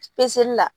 la